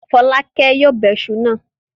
Fọ́lákẹ́ yóò bẹ iṣu náà.